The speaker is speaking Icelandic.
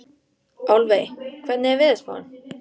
Álfey, hvernig er veðurspáin?